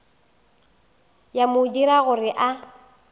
ya mo dira gore a